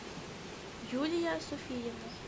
юлия софиевна